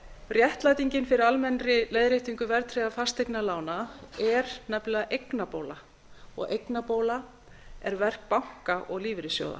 réttlætingin fyrir almennri leiðréttingu verðtryggðra fasteignalána er nefnilega eignabóla og eignabóla er verk banka og lífeyrissjóða